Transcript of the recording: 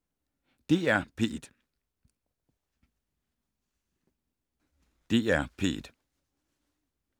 DR P1